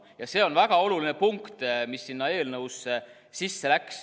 Ja see on väga oluline punkt, mis sinna eelnõusse sisse läks.